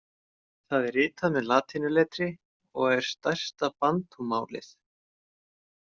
Það er ritað með latínuletri og er stærsta bantúmálið.